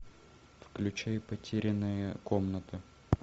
включи потерянная комната